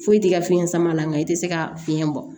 Foyi tɛ ka fiɲɛ sama la nka i tɛ se ka fiɲɛ bɔ